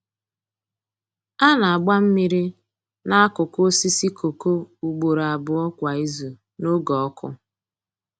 A na-agba mmiri n’akụkụ osisi kooko ugboro abụọ kwa izu n’oge ọkụ.